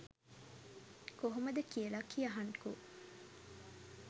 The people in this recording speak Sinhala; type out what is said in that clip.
කොහොමද කියල කියහන්කෝ.